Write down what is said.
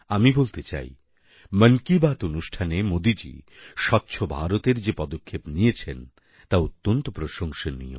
আমি বলতে চাই মন কি বাত অনুষ্ঠানে মোদীজি স্বচ্ছ ভারতএর যে পদক্ষেপ নিয়েছেন তা অত্যন্ত প্রশংসনীয়